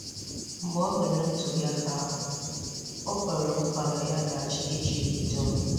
Mgbe o mere ntuli aka ahụ, o kwere nkwa na ya ga-achị Ijipt dum.